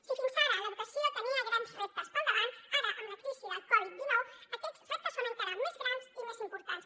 si fins ara l’educació tenia grans reptes pel davant ara amb la crisi del coviddinou aquests reptes són encara més grans i més importants